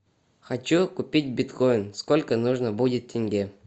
хочу купить биткоин сколько нужно будет тенге